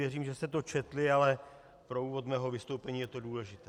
Věřím, že jste to četli, ale pro úvod mého vystoupení je to důležité.